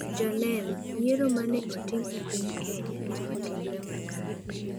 Joneno: Yiero ma ne otim e piny Kenya ne otimre makare